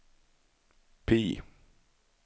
PIE